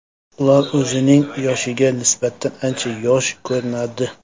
Ular o‘zining yoshiga nisbatan ancha yosh ko‘rinadi.